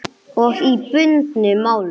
Og í bundnu máli